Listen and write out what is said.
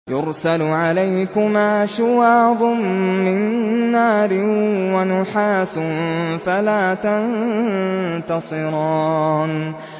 يُرْسَلُ عَلَيْكُمَا شُوَاظٌ مِّن نَّارٍ وَنُحَاسٌ فَلَا تَنتَصِرَانِ